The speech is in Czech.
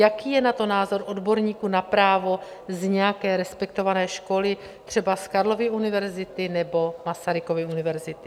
Jaký je na to názor odborníků na právo z nějaké respektované školy, třeba z Karlovy univerzity nebo Masarykovy univerzity?